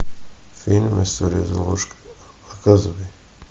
фильм история золушки показывай